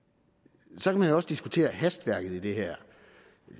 så kan man jo også diskutere hastværket i det her